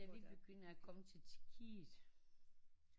Ja vi begynder at komme til Tjekkiet